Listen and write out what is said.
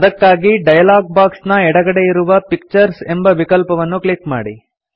ಅದಕ್ಕಾಗಿ dialog box ನ ಎಡಗಡೆಯಿರುವ ಪಿಕ್ಚರ್ಸ್ ಎಂಬ ವಿಕಲ್ಪವನ್ನು ಕ್ಲಿಕ್ ಮಾಡಿ